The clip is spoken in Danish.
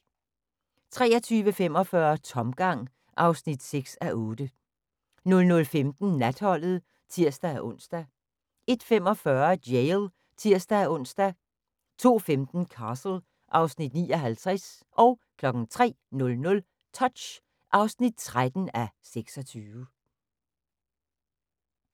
23:45: Tomgang (6:8) 00:15: Natholdet (tir-ons) 01:45: Jail (tir-ons) 02:15: Castle (Afs. 59) 03:00: Touch (13:26)